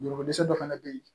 Jogo dɛsɛ dɔ fana bɛ yen